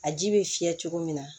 A ji bɛ fiyɛ cogo min na